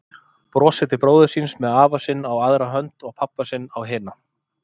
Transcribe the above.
Brosir til bróður síns með afa sinn á aðra hönd og pabba sinn á hina.